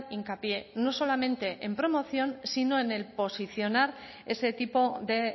hincapié no solamente en promoción sino en el posicionar ese tipo de